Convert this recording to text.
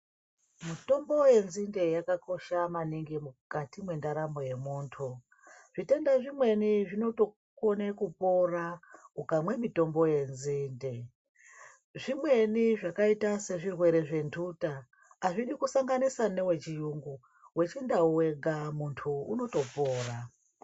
Mitombo yenzinde yakakosha maningi mukati mwendaramo yemunthu, zvitenda zvimweni zvinotokone kupora ukamwa mitombo yenzinde, zvimweni zvakaita sezvirwere zventhuta azvidi kusanganisa newechiyungu, wechindau wega munhtu unotopora.